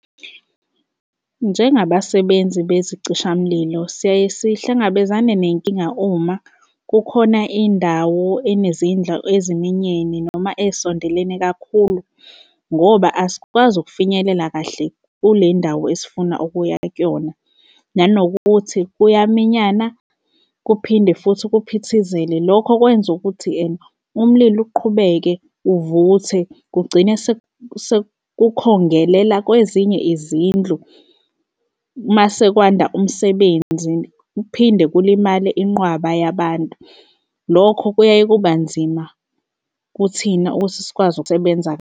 Njengabasebenza bezicishamlilo, siyaye sihlangabezane nenkinga uma kukhona indawo enezindlu eziminyene noma ey'sondelene kakhulu, ngoba asikwazi ukufinyelela kahle kule ndawo esifuna ukuya kuyona nanokuthi kuyaminyana, kuphinde futhi kuphithizele. Lokho kwenza ukuthi ene umlilo uqhubeke uvuthe kugcine sekukhongelela kwezinye izindlu mase kwanda umsebenzi kuphinde kulimale inqwaba yabantu. Lokho kuyaye kuba nzima kuthina ukuthi sikwazi ukusebenza.